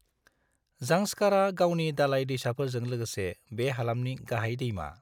जांस्कारआ गावनि दालाय दैसाफोरजों लोगोसे बे हालामनि गाहाय दैमा।